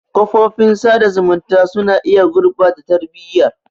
Kafofin sada zumunta suna iya gurɓata tarbiyyar.